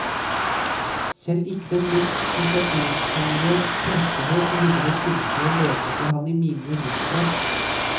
Selv ikke den mest sensasjonshungrige pressehøk ville vel finne på å lete etter ham i mine rosenbed.